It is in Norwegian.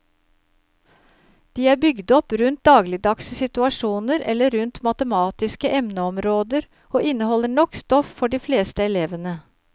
De er bygd opp rundt dagligdagse situasjoner eller rundt matematiske emneområder og inneholder nok stoff for de fleste elevene.